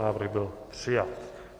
Návrh byl přijat.